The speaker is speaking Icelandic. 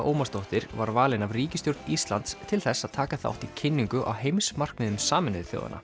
Ómarsdóttir var valin af ríkisstjórn Íslands til þess að taka þátt í kynningu á heimsmarkmiðum Sameinuðu þjóðanna